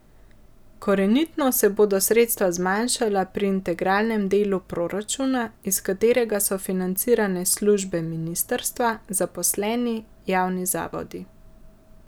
Korenito se bodo sredstva zmanjšala pri integralnem delu proračuna, iz katerega so financirane službe ministrstva, zaposleni, javni zavodi.